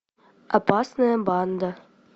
опасная банда